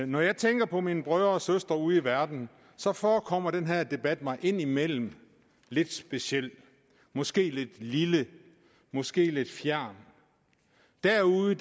når jeg tænker på mine brødre og søstre ude i verden så forekommer den her debat mig indimellem lidt speciel måske lidt lille måske lidt fjern derude